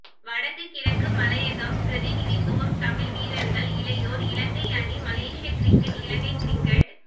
வடக்கு கிழக்கு மலையகம் பிரதிநிதித்துவம் தமிழ் வீரர்கள் இளையோர் இலங்கை அணி மலேஷியா கிரிக்கெட் இலங்கை கிரிக்கெட்